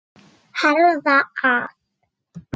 Herða að.